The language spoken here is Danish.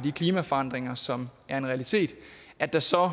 de klimaforandringer som er en realitet at der så